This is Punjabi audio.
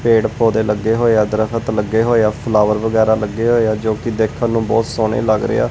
ਪੇੜ ਪੌਦੇ ਲੱਗੇ ਹੋਏ ਆ ਦਰਖਤ ਲੱਗੇ ਹੋਏ ਆ ਫਲਾਵਰ ਵਗੈਰਾ ਲੱਗੇ ਹੋਏ ਆ ਜੋ ਕਿ ਦੇਖਣ ਨੂੰ ਬਹੁਤ ਸੋਹਣੇ ਲੱਗ ਰਹੇ ਆ।